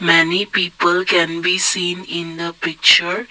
many people can be seen in the picture.